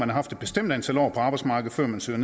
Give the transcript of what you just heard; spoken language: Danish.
har haft et bestemt antal år på arbejdsmarkedet før man søger